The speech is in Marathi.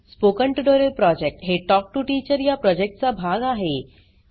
स्पोकन ट्युटोरियल प्रॉजेक्ट हे टॉक टू टीचर या प्रॉजेक्टचा भाग आहे